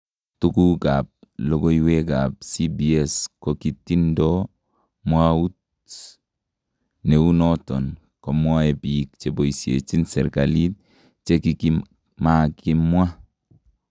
Tukukab lokooywek ab CBS kokitindo mwawuut neu noton komwae biik cheboysechin serikaliit chekimakimwaa .